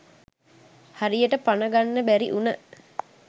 හරියට පන ගන්න බැරි උන